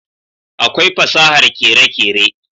akwai fasahar kere kere